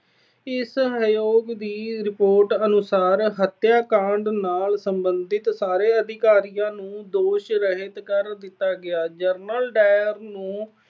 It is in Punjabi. ਇਸ ਆਯੋਗ ਦੀ ਰਿਪੋਰਟ ਅਨੁਸਾਰ ਹੱਤਿਆਕਾਂਡ ਨਾਲ ਸਬੰਧਤ ਸਾਰੇ ਅਧਿਕਾਰੀਆਂ ਨੂੰ ਦੋਸ਼ ਰਹਿਤ ਕਰ ਦਿੱਤਾ ਗਿਆ। General Dyer ਨੂੰ